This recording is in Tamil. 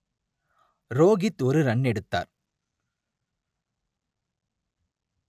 ரோகித் ஒரு ரன் எடுத்தார்